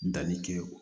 Danni kɛ o